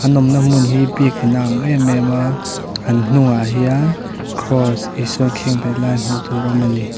an awm na hmun hi biakin a ang em em a an hnung ah hian kraws Isua an khenbeh lai hmuh tur a awm a ni.